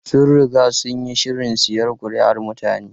Sun riga sun yi shirin siyan kuri'un mutane.